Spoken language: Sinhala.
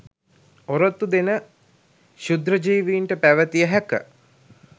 ඔරොත්තු දෙන ක්ශුද්‍ර ජීවීන්ට පැවතිය හැක